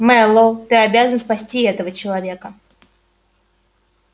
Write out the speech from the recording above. мэллоу ты обязан спасти этого человека